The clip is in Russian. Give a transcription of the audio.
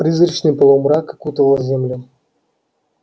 призрачный полумрак окутывал землю